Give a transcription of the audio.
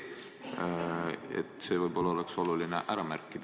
Võib-olla istungi juhatajal oleks oluline see ära märkida.